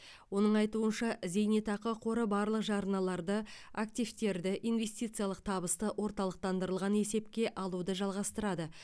оның айтуынша зейнетақы қоры барлық жарналарды активтерді инвестициялық табысты орталықтандырылған есепке алуды жалғастырады